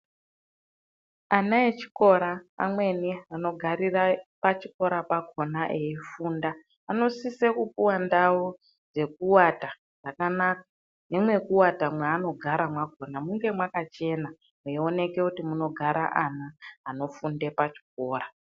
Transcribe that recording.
Ana echikora amweni anogarira pachikora pakona eifunda anosise kupuwa ndau dzekuata dzakanaka. Nemwekuata mwaanogara mwakona munge mwakachena mweioneke kuti munogara ana anofunde pachikora.